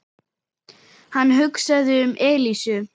Hann hugsaði um Elísu.